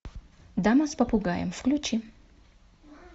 дама с попугаем включи